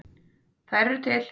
Þær eru til!